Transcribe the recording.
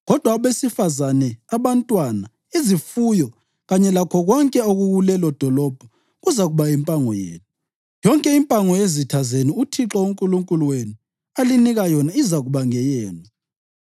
Kodwa abesifazane, abantwana, izifuyo kanye lakho konke okukulelodolobho kuzakuba yimpango yenu. Yonke impango yezitha zenu uThixo uNkulunkulu wenu alinika yona izakuba ngeyenu.